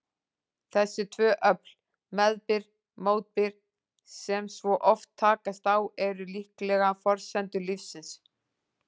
Þessi tvö öfl, meðbyr-mótbyr, sem svo oft takast á, eru líklega forsendur lífsins.